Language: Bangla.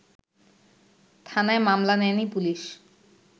থানায় মামলা নেয়নি পুলিশ